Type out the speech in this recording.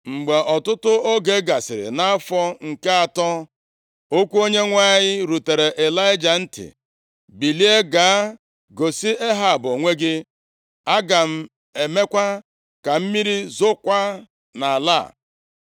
Mgbe ọtụtụ oge gasịrị, nʼafọ nke atọ, okwu Onyenwe anyị rutere Ịlaịja ntị, “Bilie, gaa gosi Ehab onwe gị. Aga m emekwa ka mmiri zookwa nʼala a.”